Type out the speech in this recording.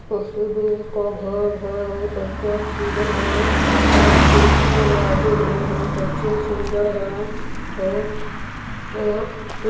president का घर है बहुत अच्छे सुन्दर है और खिड़की दरवाजे है बहुत अच्छे सुन्दर है और --]